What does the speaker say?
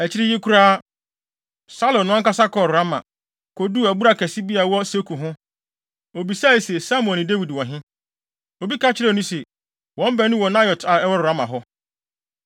Akyiri yi koraa, Saulo no ankasa kɔɔ Rama, koduu abura kɛse bi a ɛwɔ Seku ho. Obisae se, “Samuel ne Dawid wɔ he?” Obi ka kyerɛɛ no se, “Wɔn baanu wɔ Naiot a ɛwɔ Rama hɔ.”